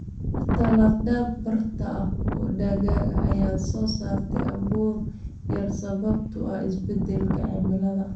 Dhirta lafdhabarta u ah dalagga ayaa soo saarta abuur yar sababtoo ah isbeddelka cimilada.